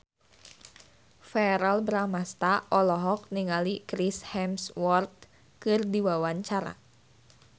Verrell Bramastra olohok ningali Chris Hemsworth keur diwawancara